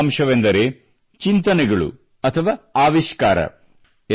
ಮೊದಲನೆಯ ಅಂಶವೆಂದರೆ ಚಿಂತನೆಗಳು ಅಥವಾ ಆವಿಷ್ಕಾರ